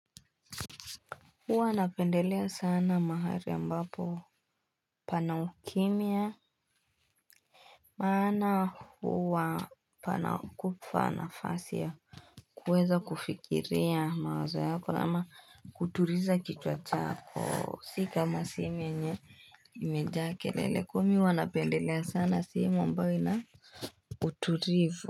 Huwa napendelea sana mahari ambapo pana ukimia Maana huwa panakupa na fasi ya kuweza kufikiria mawazo yako ama kutuliza kichwa chako. Si kama sehemi yenye imejaa kelele kwa mi huanapendelea sana sehemu ambayo inauturivu.